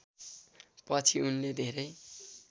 पछि उनले धेरै